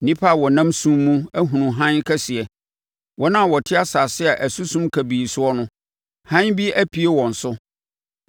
Nnipa a wɔnam sum mu ahunu hann kɛseɛ; wɔn a wɔte asase a ɛso sum kabii soɔ no, hann bi apue wɔn so.